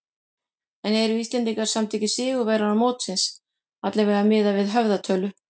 En eru Íslendingar samt ekki sigurvegarar mótsins, allavega miðað við höfðatölu?